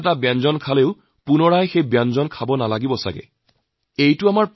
সেইবাবেই বহুত বস্তু বুজিবলৈ মোৰ বিশেষ সুবিধা হয়